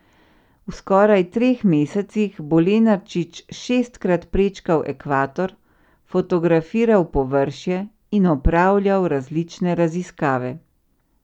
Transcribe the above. V skoraj treh mesecih bo Lenarčič šestkrat prečkal ekvator, fotografiral površje in opravljal različne raziskave.